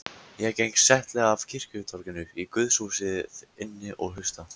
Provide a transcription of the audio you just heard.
Ég geng settlega af kirkjutorginu í guðshúsið inn og hlusta.